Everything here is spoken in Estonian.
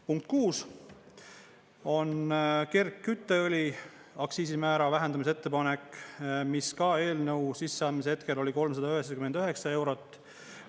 Punkt 6 on kergkütteõli aktsiisimäära vähendamise ettepanek, mis eelnõu sisseandmise hetkel oli 399 eurot.